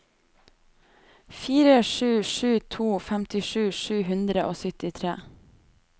fire sju sju to femtisju sju hundre og syttitre